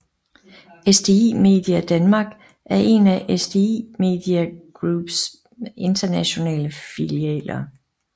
SDI Media Denmark er en af SDI Media Group s internationale filialer